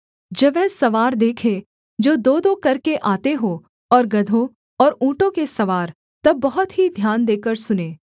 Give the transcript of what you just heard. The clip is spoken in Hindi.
जब वह सवार देखे जो दोदो करके आते हों और गदहों और ऊँटों के सवार तब बहुत ही ध्यान देकर सुने